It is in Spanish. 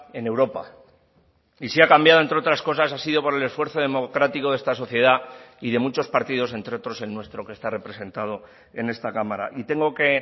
en europa y si ha cambiado entre otras cosas ha sido por el esfuerzo democrático de esta sociedad y de muchos partidos entre otros el nuestro que está representado en esta cámara y tengo que